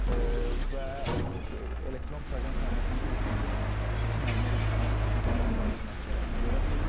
Və elektron proqram təminatının bir üstünlüyü ondan ibarətdir ki, müəllimlər imtahanı bitirdikləri anda öz nəticələrini görə bilirlər.